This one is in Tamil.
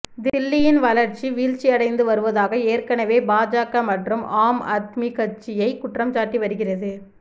தில்லியின் வளர்ச்சி வீழ்ச்சி அடைந்து வருவதாக ஏற்கனவே பாஜக மற்றும் ஆம் ஆத்மி கட்சியை குற்றம்சாட்டி வருகிறது